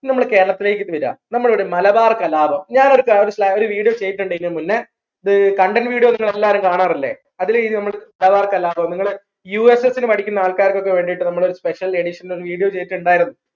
ഇനി നമ്മളെ കേരളത്തിലേക്ക് വരാ നമ്മൾ എവിടെ മലബാർ കലാപം ഞാൻ ഒരു കാര്യം ഒരു video ചെയ്തിട്ടുണ്ട് മുന്നേ അത് content videos നിങ്ങളെല്ലാരും കാണാറില്ലേ അതിലെ മലബാർ കലാപം നിങ്ങൾ USS പഠിക്കുന്ന ആൾക്കാർക്ക് വേണ്ടിയിട്ട് special edition video ചെയ്തിട്ടുണ്ടായിരുന്നു